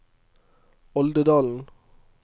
Oldedalen